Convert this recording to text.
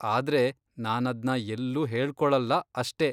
ಆದ್ರೆ, ನಾನದ್ನ ಎಲ್ಲೂ ಹೇಳ್ಕೊಳಲ್ಲ ಅಷ್ಟೇ.